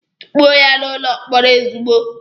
Tukpuo ya n'ụlọ mkpọrọ ozugbo!